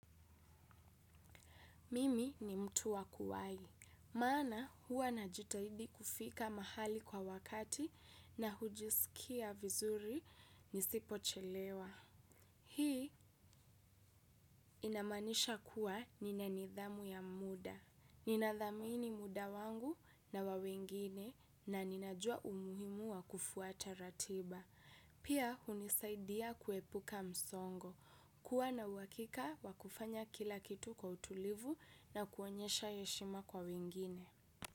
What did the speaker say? Mimi ni mtu wakuwahi. Mana huwa na jitahidi kufika mahali kwa wakati na hujisikia vizuri nisipo chelewa. Hii inamaanisha kuwa ni na nidhamu ya muda. Nina dhamini muda wangu na wawengine na ninajua umuhimu wa kufuata ratiba. Pia hunisaidia kuepuka msongo. Kua na uwakika wakufanya kila kitu kwa utulivu na kuonyesha heshima kwa wingine.